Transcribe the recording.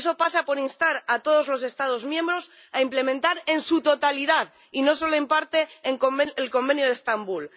Y eso pasa por instar a todos los Estados miembros a implementar en su totalidad, y no solo en parte, el Convenio de Estambul